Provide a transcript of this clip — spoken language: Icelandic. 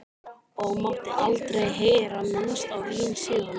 Og mátti aldrei heyra minnst á vín síðan.